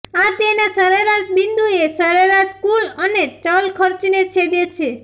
આ તેના સરેરાશ બિંદુએ સરેરાશ કુલ અને ચલ ખર્ચને છેદે છે